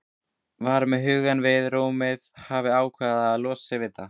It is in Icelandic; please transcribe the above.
Var með hugann við rúmið, hafði ákveðið að losa sig við það.